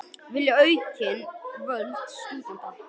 Vilja aukin völd stúdenta